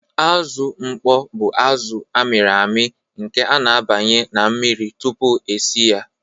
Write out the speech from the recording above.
Azụ mkpọ bụ azụ a mịrị amị nke a na-abanye na mmiri tupu e si ya.